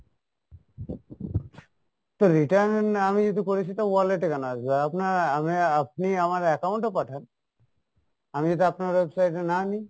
তো return আমি যদি করি সেটা wallet এ কেনো আসবে? আপনার আহ আপনি আমার account এ পাঠান, আমি যদি আপনার website এ না নি।